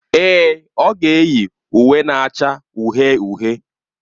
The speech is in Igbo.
Èè, ọ ga-eyi uwe na-acha uhie uhie.